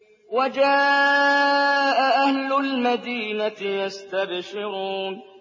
وَجَاءَ أَهْلُ الْمَدِينَةِ يَسْتَبْشِرُونَ